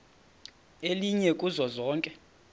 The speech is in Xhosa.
elinye kuzo zonke